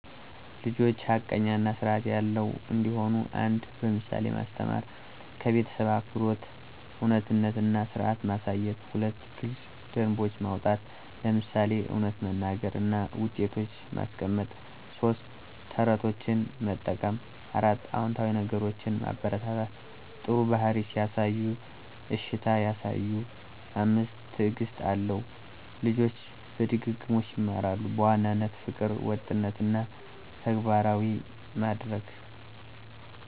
ልጆች ሐቀኛ እና ስርዐት ያለው እንዲሆኑ 1. በምሳሌ ማስተማር - ከቤተሰብ አክብሮት፣ እውነትነት እና ስርዐት ማሳየት። 2. ግልጽ ደንቦች ማውጣት - ለምሳሌ እውነት መናገር እና ውጤቶች ማስቀመጥ። 3. ተረቶችን መጠቀም 4. አዎንታዊ ነገሮችን ማበረታታ - ጥሩ ባህሪ ሲያሳዩ እሺታ ያሳዩ። 5. ትዕግስት አለው - ልጆች በድግግሞሽ ይማራሉ። በዋናነት : ፍቅር፣ ወጥነት እና ተግባራዊ ማድረግ